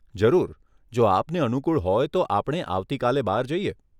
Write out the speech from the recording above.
જરૂર, જો આપને અનુકુળ હોય તો આપણે આવતી કાલે બહાર જઈએ.